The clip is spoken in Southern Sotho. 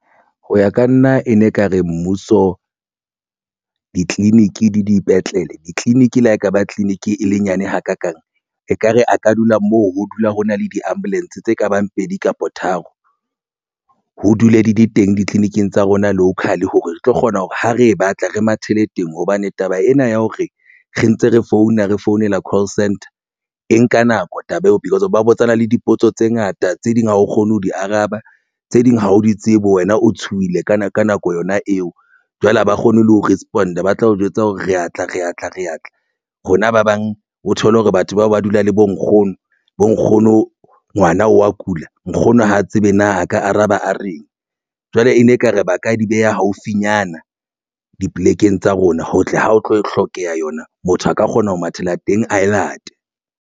Ho ya ka nna ene ekare mmuso ditleliniki le dipetlele. Ditleliniki le ha ekaba clinic e le nyane hakakang ekare a ka dula moo ho dula ho na le di-ambulance tse ka bang pedi kapa tharo ho dule di le teng ditleliniking tsa rona local hore re tlo kgona hore ha re e batla re mathele teng hobane taba ena ya hore re ntse re founa re founela call centre e nka nako taba eo ba botsana le dipotso tse ngata tse ding ha o kgone ho di araba tse ding ha o di tsebe, wena o tshohile ka nako yona eo, jwale ha ba kgone le ho respond. Ba tla o jwetsa hore re atla re atla re atla rona ba bang o thole hore batho bao ba dula le bo nkgono bo nkgono ngwana wa kula nkgono ha tsebe na a ka araba a reng. Jwale e ne ekare ba ka di beha haufinyana dipolekeng tsa rona ho tle ho tlo hlokeha yona. Motho a ka kgona ho mathela teng ae late.